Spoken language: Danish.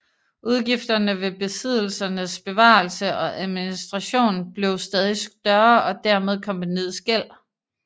Udgifterne ved besiddelsernes bevarelse og administration blev stadig større og dermed kompagniets gæld